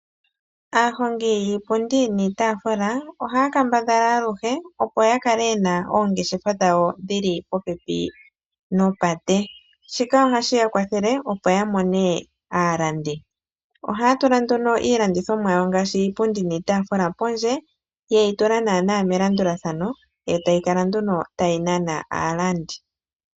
Aahongi yiipundi niitaafula, ohaya kambadhala aluhe opo yakale yena oongeshefa dhawo dhili popepi nopate. Shika ohashiya kwathele, opo ya mone aalandi. Ohaya tula nduno iilandithomwa yawo ngaashi iipundi niitaafula pondje, yeyi tula nawa melandulathano, etayi kala nduno tayi nana aalandi.